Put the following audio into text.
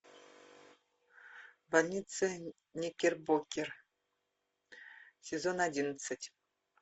больница никербокер сезон одиннадцать